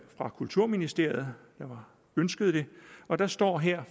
fra kulturministeriet der ønskede det og der står her